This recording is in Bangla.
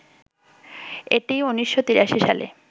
এটি ১৯৮৩ সালে